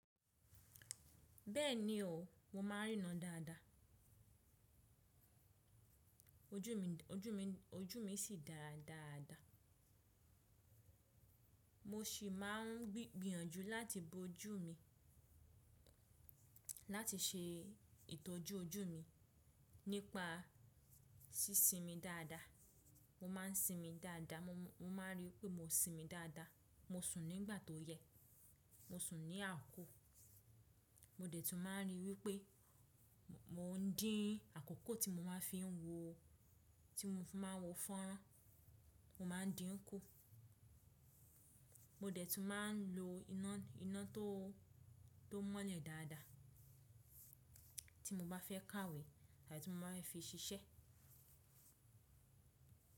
Bẹ́ẹ̀ni o, mo ma ń rína dáadáa. Ojú mi, ojú mi, ojú mi sì dára dáadáa. Mo sì máa ń gbìyànjú láti bo ojú mi, láti ṣe ìtọ́jú ojú mi nípa sí sinmi dáadáa. Mo ma ń sinmi dáadáa, mo ma ń rí i wípé mo sinmi dáadáa. Mo sùn nígbà tó yẹ, mo sùn ní àákó. Mo dẹ̀ tún máa ń rí i wípé mo ń dín àkókò tí mo máa ń fi wo, tí mo fi máa ń wọ fọ́n ran, mo máa ń dí ń kú. Mo dẹ̀ tún máa ń lo iná tó mọ́lẹ̀ dáadáa tí mo bá fẹ́ kàwé àti tí mo bá fẹ́ fi ṣiṣẹ́.